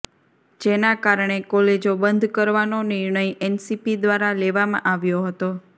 જેના કારણે કોલેજોબંધ કરવાનો નિર્ણય એનસીપી દ્વારા લેવામાં આવ્યો હતો